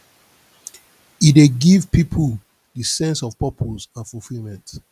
e dey give people di sense of purpose and fulfilment